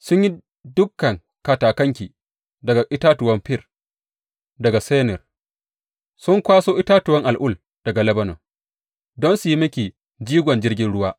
Sun yi dukan katakanki daga itatuwan fir daga Senir; sun kwaso itatuwan al’ul daga Lebanon don su yi miki jigon jirgin ruwa.